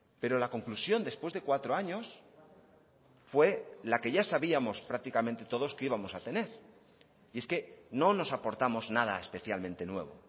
pero la conclusión después de cuatro años fue la que ya sabíamos prácticamente todos que íbamos a tener y es que no nos aportamos nada especialmente nuevo